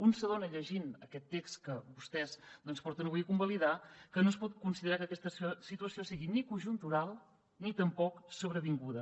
un s’adona llegint aquest text que vostès porten avui a convalidar que no es pot considerar que aquesta situació sigui ni conjuntural ni tampoc sobrevinguda